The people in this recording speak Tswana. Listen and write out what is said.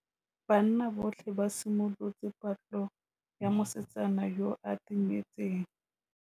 Banna botlhê ba simolotse patlô ya mosetsana yo o timetseng.